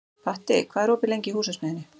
Patti, hvað er opið lengi í Húsasmiðjunni?